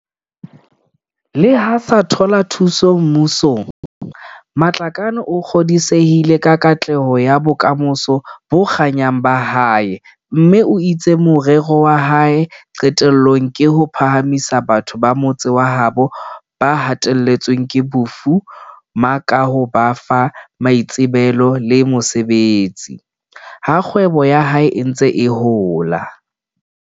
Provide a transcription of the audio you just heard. Leha a sa thola thuso mmu song, Matlakane o kgodisehile ka katleho ya bokamoso bo kganyang ba hae mme o itse morero wa hae qetellong ke ho phahamisa batho ba motse wa habo ba hateletsweng ke bofu ma ka ho ba fa maitsebelo le mosebetsi, ha kgwebo ya hae e ntse e hola.